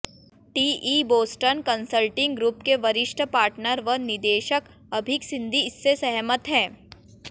TE Boston Consulting Group के वरिष्ठ partner व निदेशक अभीक सिंघी इससे सहमत हैं